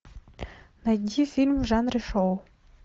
найди фильм в жанре шоу